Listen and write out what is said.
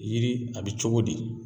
Yiri a be cogo di?